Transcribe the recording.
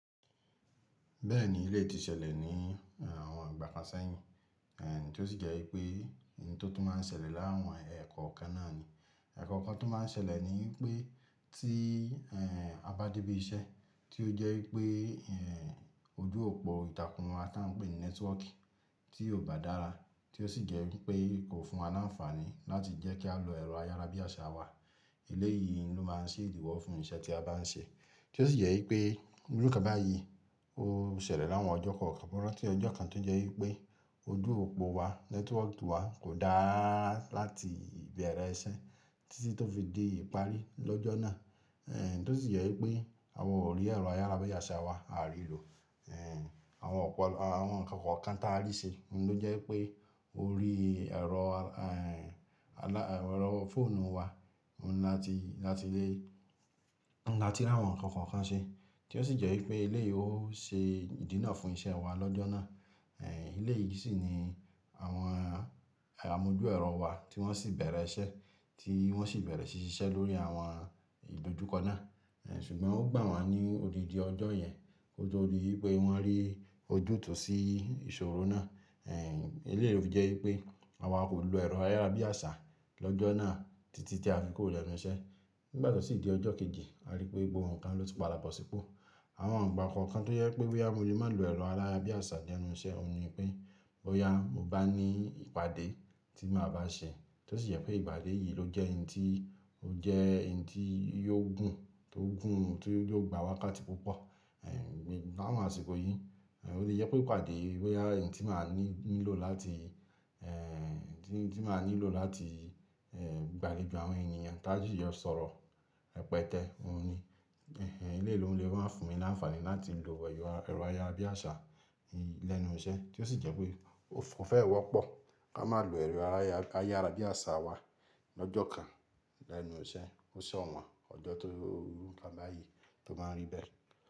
Bẹ́ẹ̀ni, eleyi ti ṣẹlẹ̀ ní àwọn ìgbà kan sẹ́yìn, èh tí ó sì jẹ́ wípé ohun tó tún máa ń ṣẹlẹ̀ láwọn ẹ̀kọ́ kan náà ni. Ẹ̀kọ́ kan tó máa ń ṣẹlẹ̀ ni pé tí eh a bá dé ibi iṣẹ́ tí ó jẹ́ wípé eh ojú òpó ìtàkùn wa tí a ń pè ní nẹ́tíwọ́ọ̀kì tí kò bá dára, tí ó sì jẹ́ wípé kò fún wa ní àǹfààní láti jẹ́ kí a lo ẹ̀rọ ayárabíàṣá wa. Elé yìí ló máa ń ṣe ìdíwọ́ fún iṣẹ́ tí a bá ń ṣe. Tí ó sì jẹ́ wípé irú nkọ báyìí ó ṣẹlẹ̀ láwọn ọjọ́ kokan, mo ranti ọjọ́ kan tó jẹ́ wípé ojú òpó wa, nẹ́tíwọ́ọ̀kì wa kò dára láti ìbẹ̀rẹ̀ iṣẹ́ títí tó fi dé ìparí lọ́jọ́ náà. Eh tí ó sì jẹ́ wípé àwa ò rí ẹ̀rọ ayárabíàṣá wa, a à rí ló. Eh àwọn ọ̀pọ̀ àwọn ǹkan kan tààrí ṣe ló jẹ́ pé ó rí ẹ̀rọ eh alá ẹ̀rọ fóònù wa láti, láti lé, láti láwọn ǹkan kan kan ṣe. Tí ó sì jẹ́ wípé ilé yìí ó ṣe ìdínà fún iṣẹ́ wa lọ́jọ́ náà. Eh elé yìí sì ni àwọn amojú ẹ̀rọ wa tí wọ́n sì bẹ̀rẹ̀ iṣẹ́, tí wọ́n sì bẹ̀rẹ̀ ṣíṣe lórí àwọn ìdojúkọ náà. Eh ṣùgbọ́n ó gbà wá ní odidi ọjọ́ yẹn, kó to dí wípé wọ́n rí ojútùú sí ìṣòro náà. Eh elé yìí fi jẹ́ wípé àwa kò lo ẹ̀rọ ayárabíàṣá lọ́jọ́ náà títí tí a fi kuro lenu iṣẹ́. Nígbà tó sì di ọjọ́ kejì, a rí pé gbogbo ǹkan ló ti padàpọ̀ sípọ̀. Àwọn igba kan tó jẹ́ pé boya mo le má lo ẹ̀rọ ayárabíàṣá lénu iṣẹ́, òun ni pé bóyá mo bá ní ìpàdé tí màá bá ṣe, tí ó sì jẹ́ pé ìpàdé yìí ló jẹ́ ohun tí ó jẹ́ ohun tí yóò gùn, tó gùn, tí yóò gba wákàtí púpọ̀ eh láwọn àsìkò yìí. Eh ó le jẹ́ pé ìpàdé boyá ohun tí màá ní nílò láti eh tí, tí màá nílò láti eh gbà léjo àwọn ènìyàn tá si jo sọ̀rọ̀ rẹpẹtẹ, òun ni. Elé yìí ló ń lè máa fún mi ní àǹfààní láti lo ẹ̀yọ ẹ̀rọ ayárabíàṣá lẹ́nu iṣẹ́ tí ó sì jẹ́ pé ó fẹ́ wọ́pọ̀ kí a má lo ẹ̀rọ ayára ayárabíàṣá wa lọ́jọ́ kan lẹ́nu iṣẹ́. Ó ṣo wọ́n ọjọ́ tó iru nkan báyìí tó máa ń rí bẹ́ẹ̀.